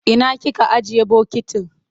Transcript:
Ina kika ajiye bokitin?